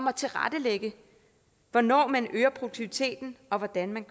at tilrettelægge hvornår man øger produktiviteten og hvordan man